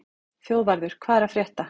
Þjóðvarður, hvað er að frétta?